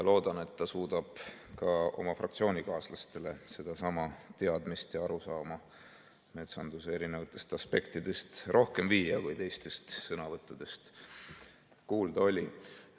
Loodan, et ta suudab ka oma fraktsioonikaaslasteni sedasama teadmist ja arusaama metsanduse erinevatest aspektidest rohkem viia, kui teistest sõnavõttudest kuulda oli.